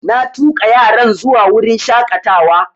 Na tuƙa yaran zuwa wurin shaƙatawa